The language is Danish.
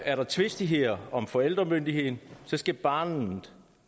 er der tvistigheder om forældremyndigheden skal barnet